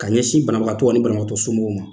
Ka ɲɛsin banabagatɔ ani banabagatɔ somɔgɔw ma.